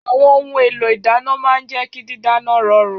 Àwọn ohun èlò ìdàná màa ń jẹ ki dídáná rọrùn.